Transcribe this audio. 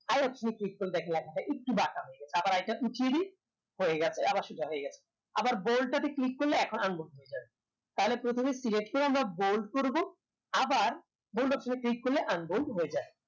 I click করলে দেখা যাবে একটু বাঁকা হয়ে গেছে আবার I টা উঠিয়ে দেয় হয়ে গেছে আবার সোজা হয়ে গেছে আবার bold তাতে click করলে এখন unbold হয়ে যাবে তাহলে প্রথমে select করে আমরা bold করবো আবার bold option এ click করলে unbold হয়ে যায়